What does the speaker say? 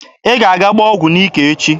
Ị ga-aga gbaa ọgụ n'ike echi!